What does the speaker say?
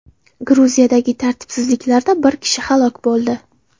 Gruziyadagi tartibsizliklarda bir kishi halok bo‘ldi.